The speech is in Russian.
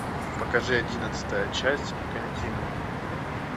покажи одиннадцатая часть континуум